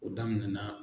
O daminɛna